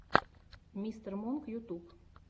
мистер монк ютуб